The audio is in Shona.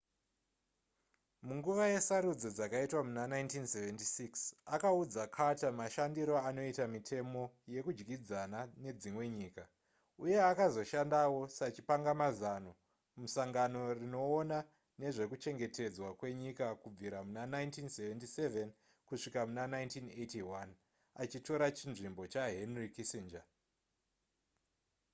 munguva yesarudzo dzakaitwa muna 1976 akaudza carter mashandiro anoita mitemo yekudyidzana nedzimwe nyika uye akazoshandawo sachipangamazano musangano rinoona nezvekuchengetedzwa kwenyika kubvira muna 1977 kusvika muna 1981 achitora chinzvimbo chahenry kissinger